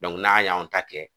n'an y'anw ta kɛ.